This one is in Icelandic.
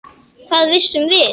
Hvað vissum við?